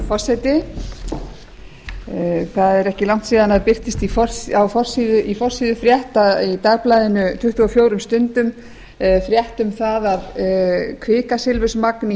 forseti það er ekki langt síðan að það birtist á forsíðufrétt í dagblaðinu tuttugu og fjögur stundum frétt um það að kvikasilfursmagn í